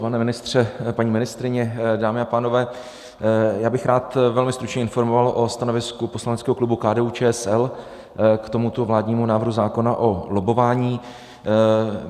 Pane ministře, paní ministryně, dámy a pánové, já bych rád velmi stručně informoval o stanovisku poslaneckého klubu KDU-ČSL k tomuto vládnímu návrhu zákona o lobbování.